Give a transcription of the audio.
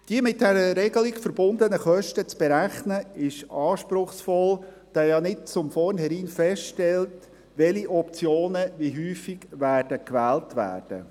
Die mit dieser Regelung verbundenen Kosten zu berechnen, ist anspruchsvoll, da ja nicht von vornherein feststeht, welche Optionen wie häufig gewählt werden.